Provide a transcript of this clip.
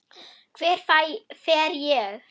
Hver fer ég?